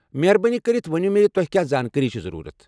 مہربٲنی کٔرتھ ون مےٚ ز تۄہہ کیٚا زانٛکٲری چھ ضروٗرت۔